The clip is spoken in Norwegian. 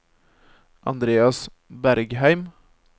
Andreas Bergheim